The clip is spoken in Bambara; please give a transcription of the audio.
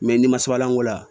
n'i ma sabalanko la